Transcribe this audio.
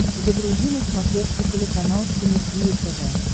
загрузи на смотрешке телеканал синергия тв